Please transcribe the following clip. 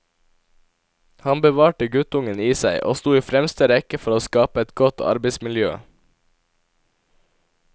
Han bevarte guttungen i seg, og sto i fremste rekke for å skape et godt arbeidsmiljø.